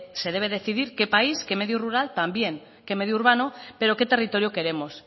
se debe decidir qué país qué medio rural también qué medio urbano pero qué territorio queremos